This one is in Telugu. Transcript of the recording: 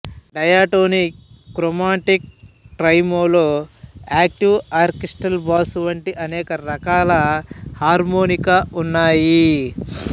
diatonic chromatic tremolo octave orchestral bass వంటి అనేక రకాల హార్మోనికా ఉన్నాయి